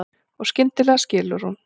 Og skyndilega skilur hún.